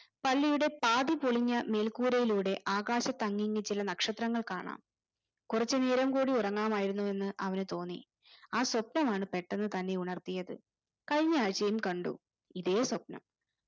പള്ളിയുടെ പാതിപൊളിഞ്ഞ മേൽക്കൂരയിലൂടെ ആകാശത്തങ്ങിങ് ചില നക്ഷത്രങ്ങൾ കാണാം കുറച്ചുനേരം കൂടെ ഉറങ്ങാമായിരുന്നുവെന്ന് അവന് തോന്നി ആ സ്വപ്നമാണ് പെട്ടെന്ന് തന്നെ ഉണർത്തിയത് കഴിഞ്ഞ ആഴ്ചയും കണ്ടു ഇതേ സ്വപ്നം